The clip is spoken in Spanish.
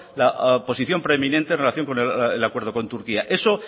la posición preeminente en relación con el acuerdo con turquía eso